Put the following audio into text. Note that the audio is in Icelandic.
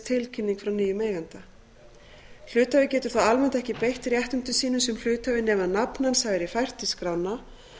tilkynning frá nýjum eiganda hluthafi getur þó almennt ekki beitt réttindum sínum sem hluthafi nema nafn hans hafi verið fært í skrána